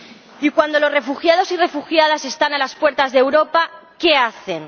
Y cuando los refugiados y refugiadas están a las puertas de Europa, ¿qué hacen?